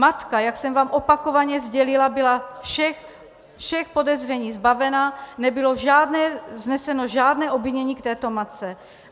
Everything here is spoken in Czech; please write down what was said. Matka, jak jsem vám opakovaně sdělila, byla všech podezření zbavena, nebylo vzneseno žádné obvinění k této matce.